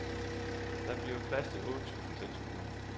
Der bliver plads til otte tusind tilskuere.